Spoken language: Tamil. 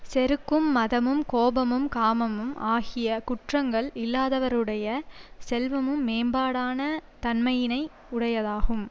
செருக்கும் மதமும் கோபமும் காமமும் ஆகிய குற்றங்கள் இல்லாதவருடைய செல்வமும் மேம்பாடான தன்மையினை உடையதாகும்